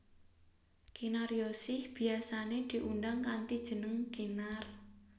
Kinaryosih biyasané diundang kanthi jeneng Kinar